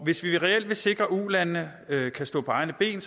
hvis vi reelt vil sikre at ulandene kan stå på egne ben